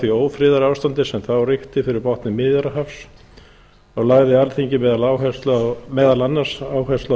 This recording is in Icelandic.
því ófriðarástandi sem þá ríkti fyrir botni miðjarðarhafs og lagði alþingi meðal annars áherslu á